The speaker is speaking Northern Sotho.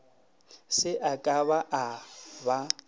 se a ka a ba